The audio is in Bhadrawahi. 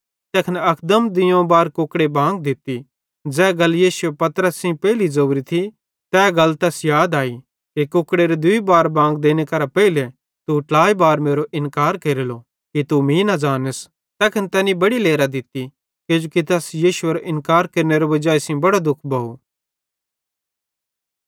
तैखन अकदम दुइयोवं बार कुकड़े बांग दित्ती ज़ै गल यीशुए पतरसे सेइं पेइली ज़ोरी थी तै गल तैस याद आई कि कुकड़ेरे दूई बार बांग देने केरां पेइले तू ट्लाइ बार मेरो इन्कार केरलो कि तू मीं न ज़ानस तैखन तैनी बड़ी लेरां दित्ती किजोकि तैनी यीशुएरो इन्कार केरनेरे वजाई सेइं बड़ो दुखी भोव